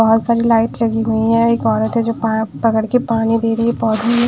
बहुत सारी लाइट लगी हुई हैं एक औरत है जो पकड़ के पानी दे रही है पौधों में।